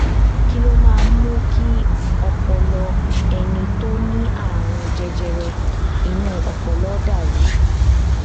kí ló máa ń mú kí ọpọlọ ẹni tó ní àrùn jẹjẹrẹ inú ọpọlọ dà rú